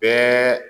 Bɛɛ